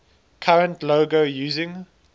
current logo using